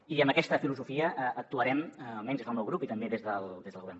i amb aquesta filosofia actuarem almenys des del meu grup i també des del govern